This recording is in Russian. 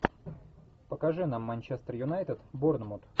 покажи нам манчестер юнайтед борнмут